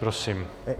Prosím.